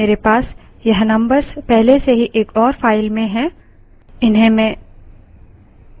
समय की कमी के कारण मेरे पास यह numbers पहले से ही एक और file में हैं